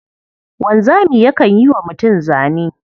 Wanzami yakan yi wa mutum zane.